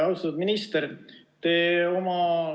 Austatud minister!